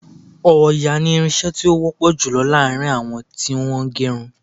Òòyà ni irin-iṣẹ́ tí ó wọ́ pọ̀ jùlọ láàrin àwọn tí wọ́n ń ge irun.